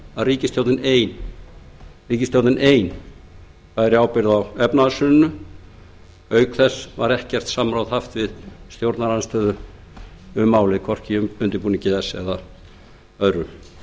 meðal annars að ríkisstjórnin bæri ein ábyrgð á efnahagshruninu og auk þess hefði hún ekkert samráð haft við stjórnarandstöðuna við undirbúning málsins þá hafi